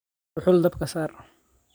Dhuxul dabka saar.